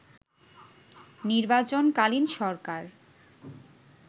নির্বাচন-কালীন সরকার